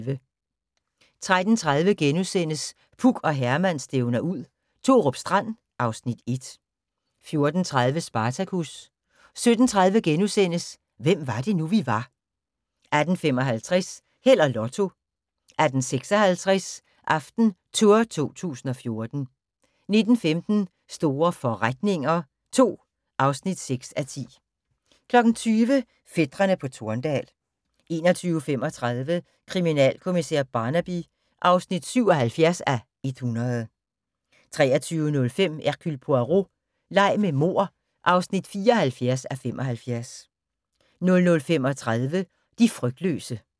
13:30: Puk og Herman stævner ud – Thorup Strand (Afs. 1)* 14:30: Spartacus 17:30: Hvem var det nu, vi var * 18:55: Held og Lotto 18:56: AftenTour 2014 19:15: Store forretninger II (6:10) 20:00: Fætrene på Torndal 21:35: Kriminalkommissær Barnaby (77:100) 23:05: Hercule Poirot: Leg med mord (74:75) 00:35: De frygtløse